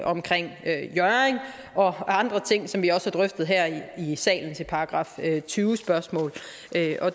omkring hjørring og andre ting som vi også har drøftet her i salen ved § tyve spørgsmål